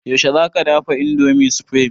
Yaushe za ka dafa indomie supreme?